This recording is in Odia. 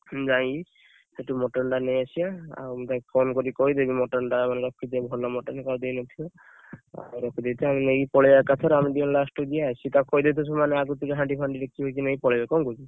ହୁଁ ଯାଇ ସେଠୁ mutton ଟା ନେଇ ଆସିବା ଆଉ ମୁଁ ତାକୁ phone କରି କହିଦେବି mutton ଟା ଆମର ରଖିଥିବ ଭଲ mutton ରଖିଥିବ କାହାକୁ ଦେଇନଥିବ ଆଉ ରଖିଦେଇଥିବ ଆମେ ନେଇକି ପଳେଇବା ଏକାଥରେ ଆମେ ଦି ଜଣ last କୁ ଯିବା ସେ ତାକୁ କହିଦେଇଥିବ ସେମାନେ ଆଗତୁରିଆ ହାଣ୍ଡି ଫାଣ୍ଡି ଡେକଚି ନେଇକି ପଳେଇବେ ନା କଣ କହୁଛ?